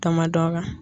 Kamandɔ kan